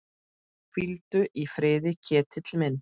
Hvíldu í friði, Ketill minn.